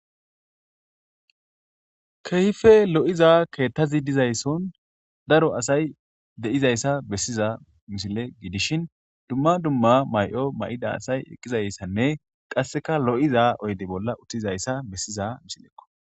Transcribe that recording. Keehippe lo'izza keththazi dizay sohon de'zayisa bessiza misile giddishshen dumma dumma mayo mayidda asay eqqidayisanne kasekka lo'iza oyidde bolla uththizayisa bessizza misilekko.